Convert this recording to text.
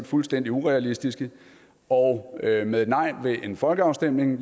fuldstændig urealistiske og at vi med et nej ved en folkeafstemning